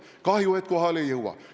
Kahju, et kohale ei jõua.